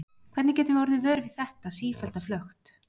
Hvernig getum við orðið vör við þetta sífellda flökt?